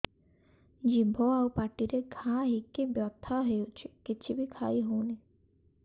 ଜିଭ ଆଉ ପାଟିରେ ଘା ହେଇକି ବଥା ହେଉଛି କିଛି ବି ଖାଇହଉନି